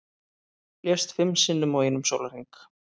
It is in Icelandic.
Lést fimm sinnum á einum sólarhring